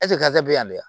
bɛ yan dɛ